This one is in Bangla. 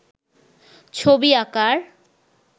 ছবি আঁকার